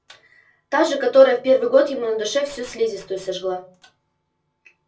та же которая в первый год ему на душе всю слизистую сожгла